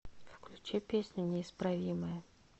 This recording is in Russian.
включи песню неисправимая